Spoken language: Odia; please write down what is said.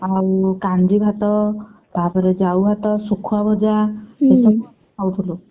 ଆଉ କାଞ୍ଜି ଭାତ ତାପରେ ଜାଉ ଭାତ ଶୁଖୁଆ ଭଜା ଏସବୁ ଆମେ ଖାଉଥିଲୁ।